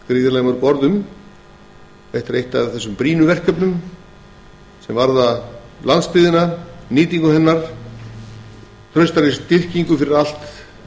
þarfnast ekki margra orða en er eitt af brýnu verkefnunum sem varða landsbyggðina nýtingu hennar og traustari styrkingu fyrir allt